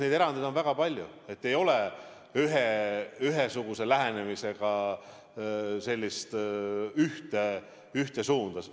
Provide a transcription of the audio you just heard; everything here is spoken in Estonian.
Neid erandeid on väga palju, ei ole ühesugust lähenemist, sellist ühte suunda.